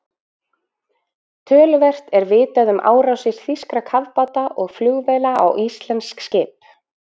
Töluvert er vitað um árásir þýskra kafbáta og flugvéla á íslensk skip.